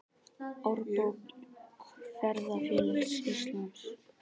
Árbók Ferðafélags Íslands.